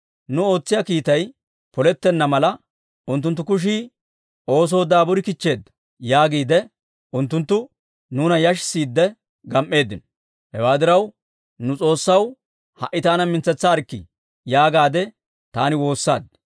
Nu ootsiyaa kiittay polettenna mala, «Unttunttu kushii oosoo daaburi kichcheedda» yaagiide unttunttu nuuna yashissiidde gam"eeddino. Hewaa diraw, «Nu S'oossaw ha"i taana mintsetsaarkkii» yaagaadde taani woossaad.